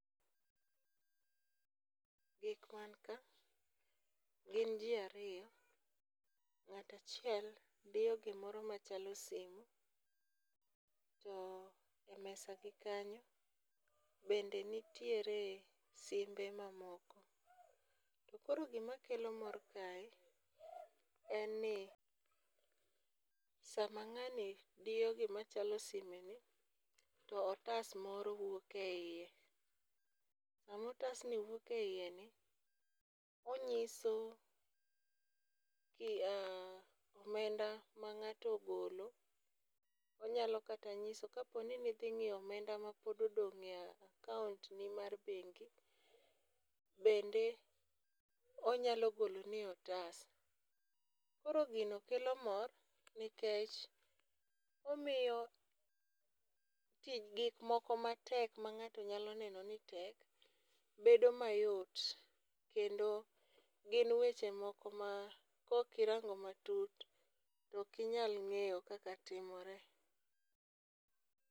Gik man ka gin ji ariyo, ng'ata chiel diyo gimoro machalo simu, to e mesagi kanyo be nitiere simbe mamoko. To koro gimakelo mor kae, en ni sama ng'ani diyo gima chalo simeni to otas moro wuok e hiye, sama otasni wuok e hiyeni onyiso omenda ma ng'ato ogolo, onyalo kata nyiso ka poni nithing'iyo omenda ma pod odong'ie e akauntni mar beng' bende onyalo goloni e otas, koro gino kelo mor nikech omiyo tich gik moko matek ma ng'ato nyalo neno ni tek bedo mayot kendo gin weche moko ma kokirang'o matut tokinyal ng'eyo kaka timore